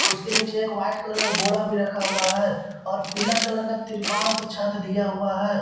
उसके नीचे एक वाइट कलर का बोड़ा रखा हुआ है और पिला कलर का तिरपाल से छत दिया हुआ है।